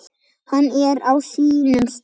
Hann er á sínum stað.